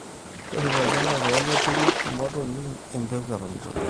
torripo olchamba pee meturru imotonyik empegu eton eitu eilepu